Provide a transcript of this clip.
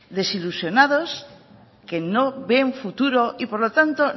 desilusionados que no ven futuro y por lo tanto